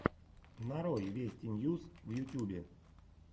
нарой вести ньюс в ютьюбе